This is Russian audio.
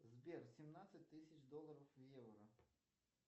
сбер семнадцать тысяч долларов в евро